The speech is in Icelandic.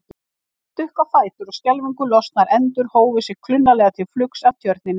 Þeir stukku á fætur og skelfingu lostnar endur hófu sig klunnalega til flugs af tjörninni.